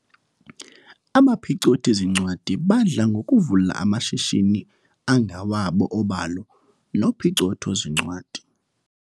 Abaphicothi-zincwadi badla ngokuvula amashishini angawabo obalo nophicotho-zincwadi.